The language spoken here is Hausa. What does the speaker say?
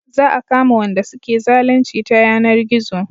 Za a kama Wanda suke zalunci ta yanar gizo